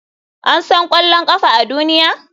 An san ƙwallon ƙafa a duniya?